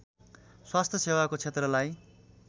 स्वास्थ्य सेवाको क्षेत्रलाई